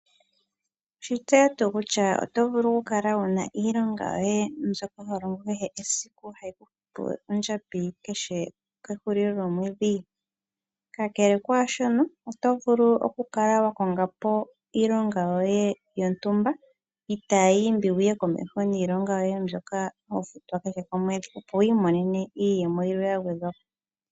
Owe shi tseya tuu kutya oto vulu okukala wu na iilonga yoye mbyoka ho longo kehe esiku hayi ku futu ondjambi kehe kehulilo lyomwedhi? Kakele kwaa shono oto vulu okukala wa konga po iilonga yoye yontumba itaayi imbi wu ye komeho niilonga yoye mbyoka ho futwa kehe komwedhi, opo wi imonene iiyemo yilwe ya gwedhwa po.